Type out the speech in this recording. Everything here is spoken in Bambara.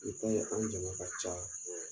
I ta ye an jama ka ca